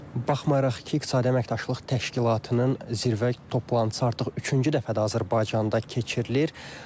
Baxmayaraq ki, İqtisadi Əməkdaşlıq Təşkilatının zirvə toplantısı artıq üçüncü dəfədir Azərbaycanda keçirilir.